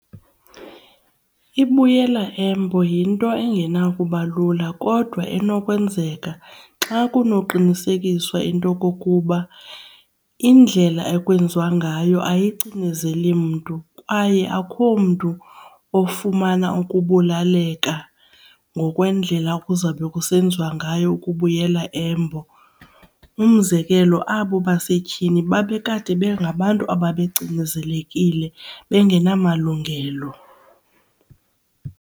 Ibuyela embo yinto engenakuba lula kodwa enokwenzeka xa kunoqinisekiswa into kokuba indlela ekwenziwa ngayo ayicinezeli mntu kwaye akukho mntu ofumana ukubulaleka ngokwendlela kuzawube kusenziwa ngayo ukubuyela embo. Umzekelo, abo basetyhini babe kade bengabantu ababecinezelekile bengenamalungelo.